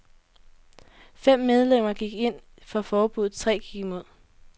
Fem medlemmer gik ind for forbudet, tre gik imod.